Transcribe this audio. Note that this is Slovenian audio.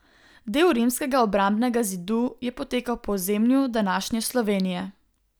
Del rimskega obrambnega zidu je potekal po ozemlju današnje Slovenije.